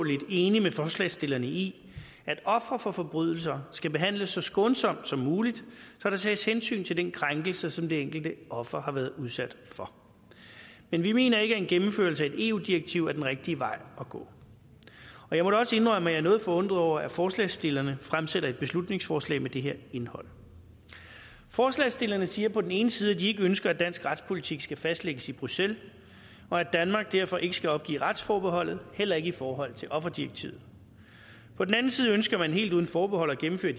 enige med forslagsstillerne i at ofre for forbrydelser skal behandles så skånsomt som muligt så der tages hensyn til den krænkelse som det enkelte offer har været udsat for men vi mener ikke at en gennemførelse eu direktiv er den rigtige vej at gå jeg må også indrømme at jeg er noget forundret over at forslagsstillerne fremsætter et beslutningsforslag med det her indhold forslagsstillerne siger på den ene side at de ikke ønsker at dansk retspolitik skal fastlægges i bruxelles og at danmark derfor ikke skal opgive retsforbeholdet heller ikke i forhold til offerdirektivet på den anden side ønsker man helt uden forbehold at gennemføre